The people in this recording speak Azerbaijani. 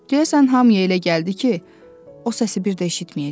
Deyəsən hamıya elə gəldi ki, o səsi bir də eşitməyəcəyik.